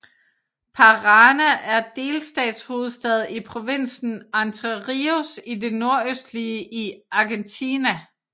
Paraná er delstatshovedstad i provinsen Entre Ríos i det nordøstlige i Argentina